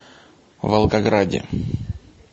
волгограде